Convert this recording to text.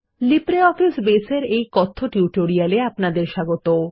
LibreOffice বাসে এর এই কথ্য টিউটোরিয়ালে আপনাদের স্বাগত